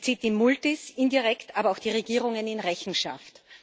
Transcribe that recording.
Sie zieht die Multis, indirekt aber auch die Regierungen in Rechenschaft.